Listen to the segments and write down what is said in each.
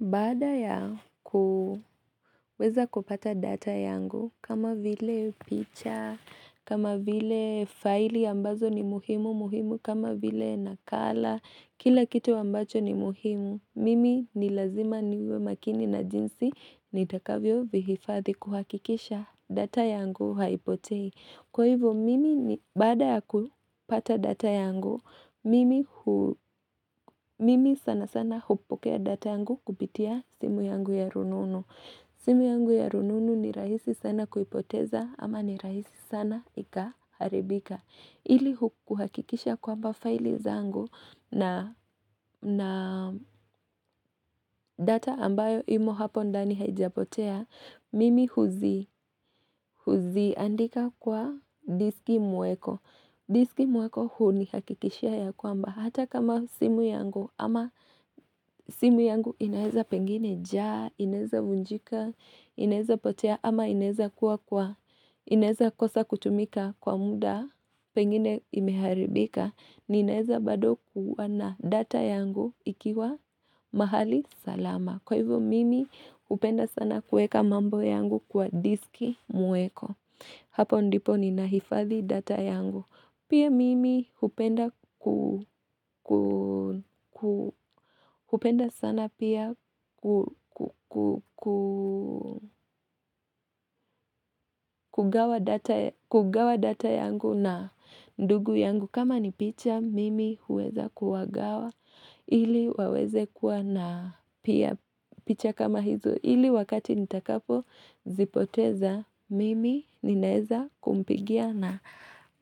Baada ya kuweza kupata data yangu, kama vile picha, kama vile faili ambazo ni muhimu muhimu, kama vile nakala, kila kitu ambacho ni muhimu, mimi ni lazima niwe makini na jinsi, nitakavyo vihifathi kuhakikisha data yangu haipotei. Kwa hivyo mimi ni bada ya kupata data yangu, mimi sana sana hupokea data yangu kupitia simu yangu ya rununu. Simu yangu ya rununu ni rahisi sana kuipoteza ama ni rahisi sana ikaharibika. Ili hukuhakikisha kwamba faili zangu na data ambayo imo hapo ndani haijapotea, mimi huzi, huziandika kwa diski muweko. Diski muweko huu ni hakikishia ya kwamba hata kama simu yangu ama simu yangu inaeza pengine jaa, inaeza vunjika, inaeza potea ama inaeza kua kwa, inaeza kosa kutumika kwa muda pengine imeharibika, ninaweza bado kuwa na data yangu ikiwa mahali salama. Kwa hivyo mimi hupenda sana kueka mambo yangu kwa diski muweko Hapo ndipo ni nahifathi data yangu Pia mimi upenda sana pia kugawa data yangu na ndugu yangu kama ni picha mimi huweza kuwagawa Ili waweze kuwa na pia picha kama hizu Hili wakati nitakapo zipoteza mimi ninaweza kumpigia na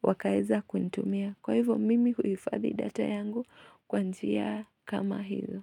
wakaweza kunitumia. Kwa hivyo mimi huifadhi data yangu kwa njia kama hizo.